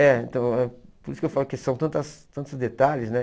É, então, por isso que eu falo que são tantas tantos detalhes, né?